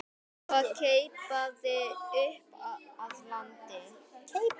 og keipaði upp að landi.